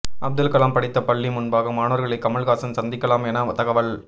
அப்துல்கலாம் படித்த பள்ளி முன்பாக மாணவர்களை கமல்ஹாசன் சந்திக்கலாம் என தகவல்